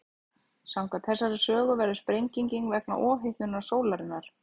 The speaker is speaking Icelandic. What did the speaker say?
Samkvæmt þessari sögu verður sprengingin vegna ofhitnunar sólarinnar.